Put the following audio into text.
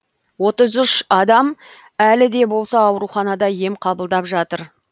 отыз үш адам әлі де болса ауруханада ем қабылдап жатыр